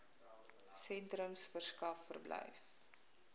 sentrums verskaf verblyf